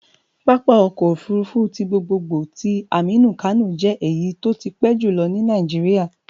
Pápá ọkọ̀ òfurufú ti gbogbogbò ti Aminu Kano jẹ́ èyí tó ti pẹ́ jùlọ ní Nàìjíríà